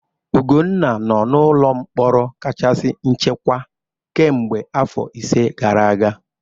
Ugwunna nọ n'ụlọ mkpọrọ kachasị nchekwa kemgbe afọ ise gara aga.